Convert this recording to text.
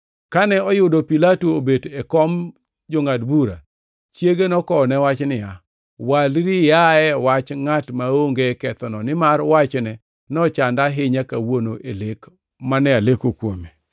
Kane oyudo Pilato obet e kom jongʼad bura, chiege nokowone wach niya, “Walri iaye wach ngʼat maonge kethono, nimar wachne nochanda ahinya kawuono e lek mane aleko kuome.”